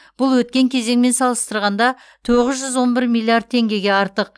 бұл өткен кезеңмен салыстырғанда тоғыз жүз он бір миллиард теңгеге артық